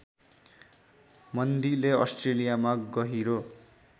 मन्दीले अस्ट्रेलियामा गहिरो